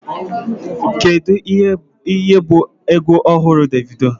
Kedu ihe bụ egwu ọhụrụ Davido?